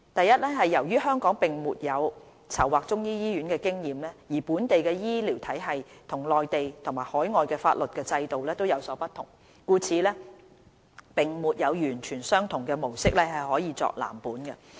一由於香港並沒有籌劃中醫醫院的經驗，而本地的醫療體系與內地及海外的法律和制度有所不同，故此並沒有完全相同的模式可作藍本。